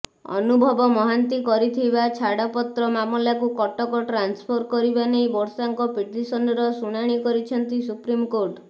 ଅନୁଭବ ମହାନ୍ତି କରିଥିବା ଛାତପତ୍ର ମାମଲାକୁ କଟକ ଟ୍ରାନ୍ସଫର କରିବା ନେଇ ବର୍ଷାଙ୍କ ପିଟିସନର ଶୁଣାଣି କରିଛନ୍ତି ସୁପ୍ରିମକୋର୍ଟ